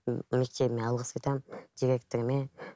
мектебіме алғыс айтамын директорыма